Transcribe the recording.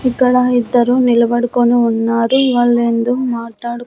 ఇక్కడ ఇద్దరు నిలబడికొనిఉన్నారు వాళ్ళేందో మాట్లాడు--